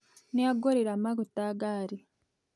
Nĩangorera maguta ngari